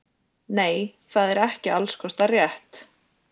Nei það er ekki alls kostar rétt.